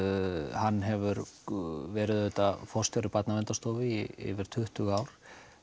hann hefur verið forstjóri Barnaverndarstofu í yfir tuttugu ár